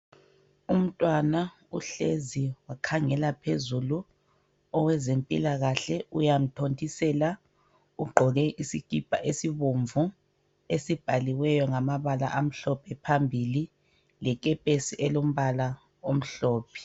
Umntwana uhlezi wakhangela phezulu. Owezempilakahle uyamthondisela. Ugqoke isikhipha esibomvu esibhaliweyo ngamabala amhlophe phambili lekepesi elombala omhlophe.